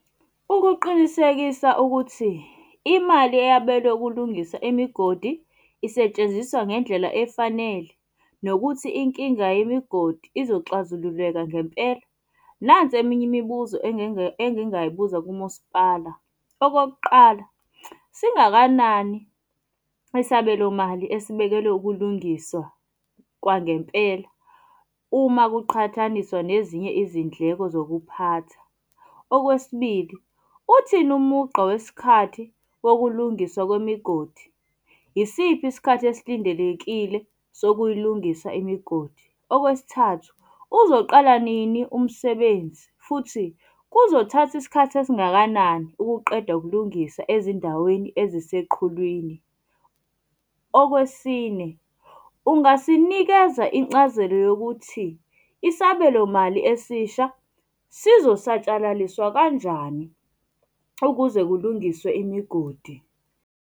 Ukuqinisekisa ukuthi imali eyabelwe ukulungisa imigodi isetshenziswa ngendlela efanele, nokuthi inkinga yemigodi izoxazululeka ngempela, nansi eminye imibuzo engingayibuza kumasipala. Okokuqala, singakanani isabelomali esibekelwe ukulungiswa kwangempela uma kuqhathaniswa nezinye izindleko zokuphatha? Okwesibili, uthini umugqa wesikhathi wokulungisa kwemigodi? Yisiphi isikhathi esilindelekile sokuyilungisa imigodi? Okwesithathu, uzoqala nini umsebenzi, futhi kuzothatha isikhathi esingakanani ukuqeda ukulungisa ezindaweni eziseqhulwini? Okwesine, ungasinikeza incazelo yokuthi isabelomali esisha sizosatshalaliswa kanjani ukuze kulungiswe imigodi.